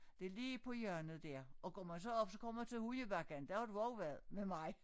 Det lige på hjørnet der og går man så op så kommer man til hundebakken der har du også været med mig